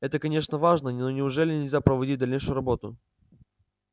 это конечно важно но неужели нельзя проводить дальнейшую работу